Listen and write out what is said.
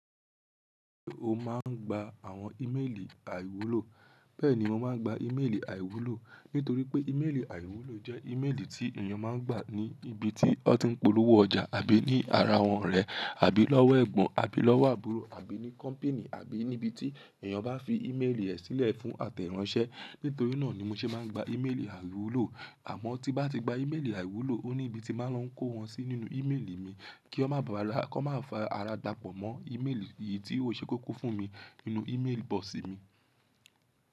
Ṣé o máa ń gba àwọn ímeèlì àìwúlò? Bẹ́ẹ̀ni, mo máa ń gba ímeèlì àìwúlò, nítorí pé ímeèlì àìwúlò jẹ́ ímeèlì tí ènìyàn máa ń gbà ní ibi tí ó ti ń polówó ọjà àbí ní ara wọn rẹ̀, àbí lówó ẹ̀gbọ́n, àbí lówó àbúrò, àbí ní kọ́mpinì, àbí ní ibi tí ènìyàn bá fi ímeèlì ẹ̀ sílẹ̀ fún àtẹ̀ráńṣẹ́. Nítorí náà ni mo ṣe máa ń gba ímeèlì àìwúlò. Àmọ́ tí bá ti gba ímeèlì àìwúlò, ó ní ibi tí máa lọ kó wọn sí nínú ímeèlì mi kí ó má bàrà kọ́ má fa ara gbapọ̀ mọ́ ímeèlì eyìí tí ó ṣe kókó fún mi nínú ímeèlì bọ́ọ̀sì mi.